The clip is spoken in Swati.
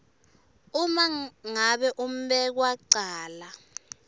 uma ngabe umbekwacala